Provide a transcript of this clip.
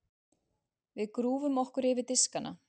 Við grúfum okkur yfir diskana.